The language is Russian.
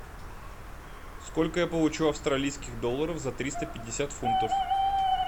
сколько я получу австралийских долларов за триста пятьдесят фунтов